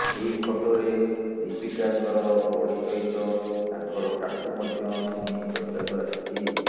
ଏହି ଫଟୋରେ ଦୀପିକାଙ୍କର ବଡି ସହିତ ତାଙ୍କର ଟାଟୁ ମଧ୍ୟ ଶୁଣି ଚର୍ଚ୍ଚାକୁ ଆସିଛି